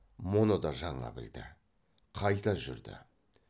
мұны да жаңа білді қайта жүрді